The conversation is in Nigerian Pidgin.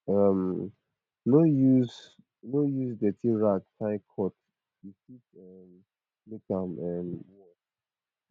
um no use no use dirty rag tie cut e fit um make am um worse